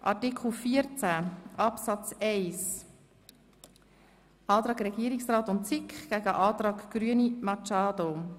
Bei Artikel 14 Absatz 1 steht der Antrag Regierungsrat und SiK dem Antrag Grüne gegenüber.